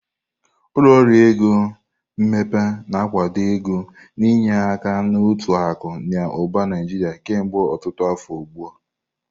Ụlọ ọrụ ego mmepe na-akwado ego na-enye aka na uto akụ na ụba Naijiria kemgbe ọtụtụ afọ ugbu a.